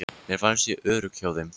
Mér fannst ég örugg hjá þeim.